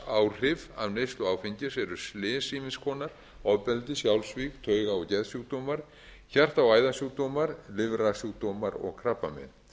heilsufarsáhrif af neyslu áfengis eru slys ýmiss konar ofbeldi sjálfsvíg tauga og geðsjúkdómar hjarta og æðasjúkdómar lifrarsjúkdómar og krabbamein